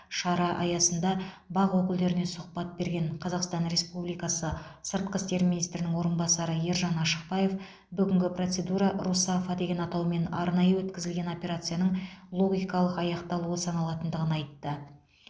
шара аясында бақ өкілдеріне сұхбат берген қазақстан республикасы сыртқы істер министрінің орынбасары ержан ашықбаев бүгінгі процедура русафа деген атаумен арнайы өтізілген операцияның логикалық аяқталуы саналатындығын айтты